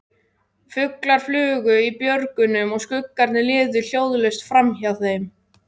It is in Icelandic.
Fuglar flugu í björgunum og skuggarnir liðu hljóðlaust framhjá þeim.